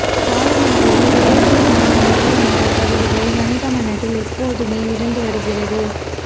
காலம் என்பது ரிலேட்டிவ் ஆன ஒன்று என்ற கருதுகோள் மனித மனதில் எப்போதுமே இருந்து வருகிறது